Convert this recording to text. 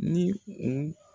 Ni u